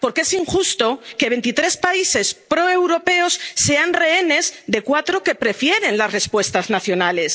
unanimidad. Porque es injusto que veintitrés países proeuropeos sean rehenes de cuatro que prefieren las respuestas